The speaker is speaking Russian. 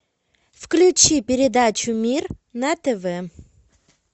включи передачу мир на тв